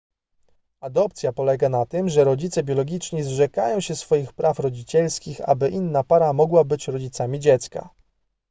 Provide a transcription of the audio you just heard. adopcja polega na tym że rodzice biologiczni zrzekają się swoich praw rodzicielskich aby inna para mogła być rodzicami dziecka